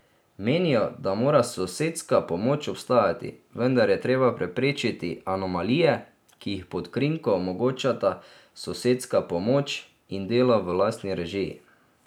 Menijo, da mora sosedska pomoč obstajati, vendar je treba preprečiti anomalije, ki jih pod krinko omogočata sosedska pomoč in delo v lastni režiji.